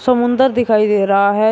समुंदर दिखाई दे रहा है।